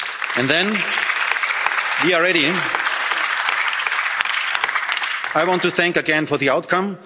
And then, we are ready, I want to thank again for the